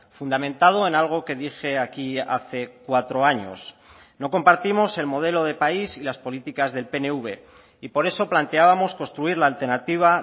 fundamentado en algo que dije aquí hace cuatro años no compartimos el modelo de país y las políticas del pnv y por eso planteábamos construir la alternativa